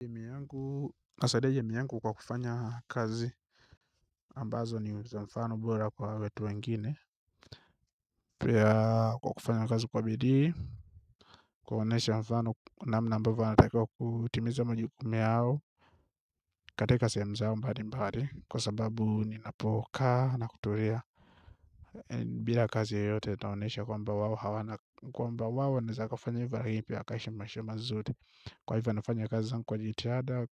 Jamii yangu nasaidia jamii yangu kwa kufanya kazi ambazo ni za mfano bora kwa wetu wengine pia kwa kufanya kazi kwa bidii kuonesha mfano namna ambavyo anatakiwa kutimiza majukumu yao katika sehemu zao mbali mbali kwa sababu ninapokaa na kutulia bila kazi yoyote naonyesha kwamba wao hawana kwamba wao wanaeza kafanya hivo pia wakaishi maisha mazuri kwa hivyo nafanya kazi zangu kwa jitihada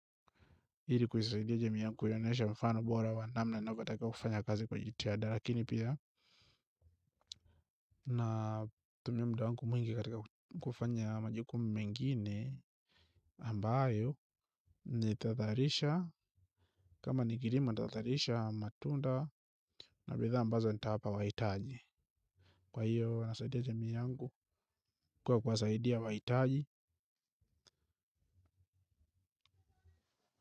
ili kuisaidia jamii yangu kuionyesha mfano bora wa namna inavyotakiwa kufanya kazi kwa jitihada. Lakini pia na tumia muda wangu mwingi katika kufanya majukumu mengine ambayo nitadharisha. Kama ni kilimo nitazalisha matunda na bidhaa ambazo nitawapa wahitaji. Kwa hiyo nasaidia jamii yangu kuwa kuwasaidia wahitaji.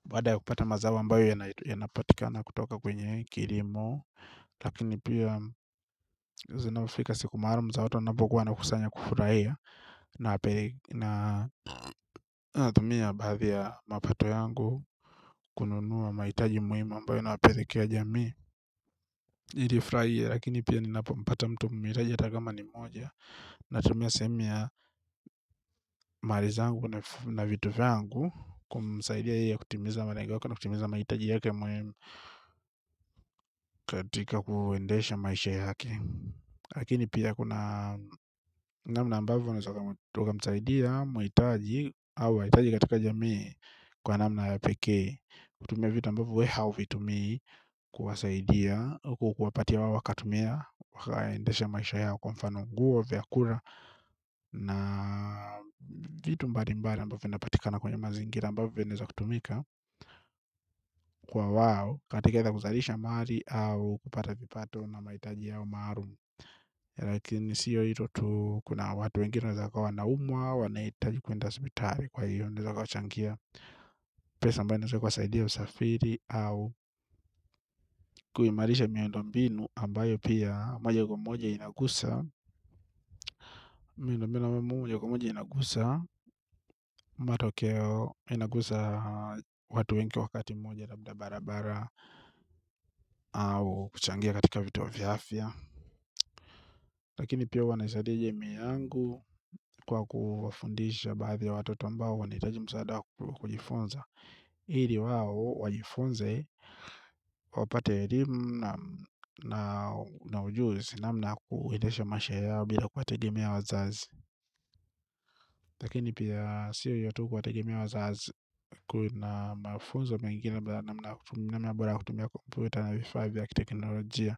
Baada ya kupata mazao ambayo yanapatikana kutoka kwenye kilimo lakini pia zinapofika siku maalum za watu wanapokuwa wanakusanya kufurahia natumia baadhi ya mapato yangu kununua mahitaji muhimu ambayo inapelekea jamii ili ifurahie lakini pia ninapopata mtu mhitaji hata kama ni mmoja natumia sehemu ya mali zangu na vitu vyangu kumsaidia ili kutimiza malengo yake na kutimiza mahitaji yake muhimu katika kuendesha maisha yake. Lakini pia kuna namna ambavyo unaeza kumsaidia mahitaji au wahitaji katika jamii kwa namna ya pekee. Kutumia vitu ambavyo we hauvitumii. Kuwasaidia, au kuwapatia wao wakatumia waendeshe maisha yao kwa mfano nguo vyakula na vitu mbali mbali ambavyo inapatikana kwenye mazingira ambavyo vinaeza kutumika kwa wao. Katika hata kuzalisha mali au kupata vipato na mahitaji yao maalum lakini siyo hilo tu kuna watu wengine waeza kuwa wanaumwa wanahitaji kuenda hospitali kwa hiyo naeza kuwachangia pesa ambayo inaeza kuwasaidia usafiri au kuimarisha miandombinu ambayo pia moja kwa moja inagusa miandombinu na mwaje kwa moja inagusa matokeo inagusa watu wengi wakati mmoja labda barabara au kuchangia katika vituo vya afya lakini pia huwa naisaidia jamii yangu kwa kuwafundisha baadhi ya watoto ambao wanahitaji msaada wa kujifunza ili wao wajifunze wapate elimu na ujuzi namna ya kuendesha maisha yao bila kuwategemea wazazi, lakini pia sio hiyo tu kuwategemea wazazi kuna mafunzo mengine namna bora ya kutumia kompyuta na vifaa vya kiteknolojia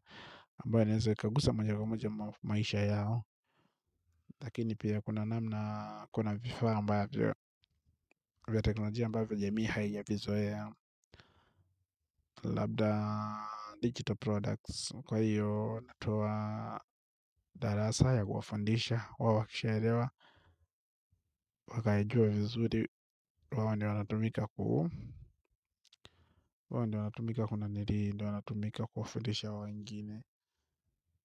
ambayo yanaweza yakaguza moja kwa moja maisha yao lakini pia kuna namna kuna vifaa ambavyo vya teknolojia ambavyo jamii haijavizoea. Labda digital products. Kwa hiyo natoa darasa ya kuwafundisha. Wao wakishalewa wakayajua vizuri. Wao ndo wanatumika kuu. Wao ndo wanatumika kuna niri ndo wanatumika kuwafundisha wengine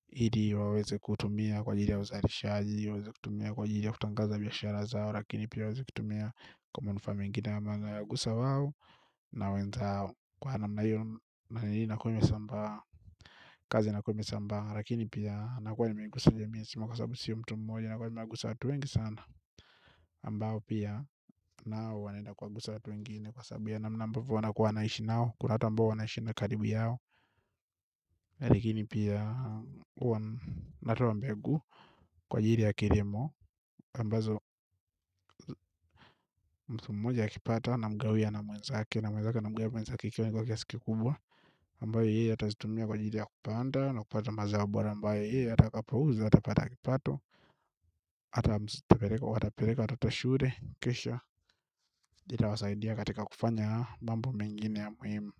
ili waweze kutumia kwa ajili ya uzalishaji waweze kutumia kwa ajili ya kutangaza biashara zao. Lakini pia waweze kutumia kwa manufaa mengine ama yanawagusa wao na wenzao. Kwa namna hiyo na hii inakuwa imesambaa. Kazi inakuwa imesambaa lakini pia nakuwa nimegusa jamii nzima kwa sababu sio mtu mmoja nakuwa nimegusa watu wengi sana ambao pia nao wanaenda kuwagusa watu wengine kwasababu ya namna ambavyo wanaishi nao kuna watu ambao wanaishi na karibu yao. Likini pia huwa natoa mbegu kwa ajili ya kilimo ambazo mtu mmoja akipata anamgawia na mwenzake na mwenzake anamgawia mwenzake ikiwa imebaki kiasi kikubwa ambayo yeye atazitumia kwa ajili ya kupanda na kupata mazao bora ambayo yeye atakapouza, atapata kipato, atapeleka, atapeleka, watoto shule, kisha, itawasaidia katika kufanya mambo mengine ya muhimu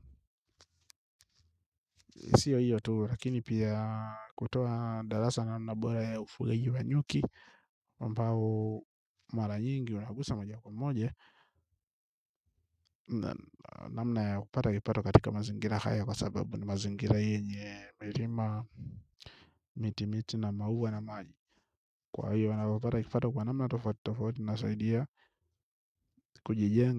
sio hiyo tu lakini pia kutoa darasa na na bora ufugaji wa nyuki ambao mara nyingi unagusa moja kwa moja. Namna ya kupata kipato katika mazingira haya kwa sababu ni mazingira yenye milima miti miti na maua na maji kwa hiyo napopata kipato kwa namna tofauti inasaidia kujijenga.